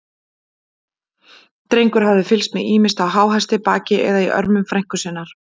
Drengur hafði fylgst með, ýmist á háhesti, baki eða í örmum frænku sinnar.